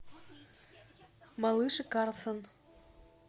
малыш и карлсон